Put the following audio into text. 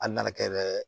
Hali n'a kɛra